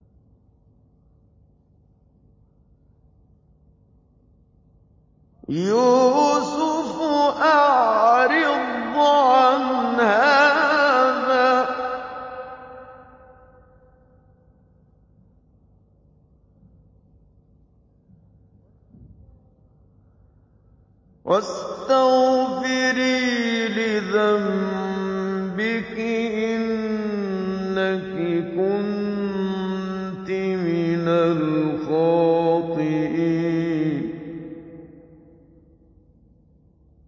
يُوسُفُ أَعْرِضْ عَنْ هَٰذَا ۚ وَاسْتَغْفِرِي لِذَنبِكِ ۖ إِنَّكِ كُنتِ مِنَ الْخَاطِئِينَ